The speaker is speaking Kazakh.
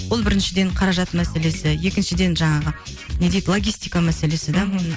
ол біріншіден қаражат мәселесі екіншіден жаңағы не дейді логистика мәселесі де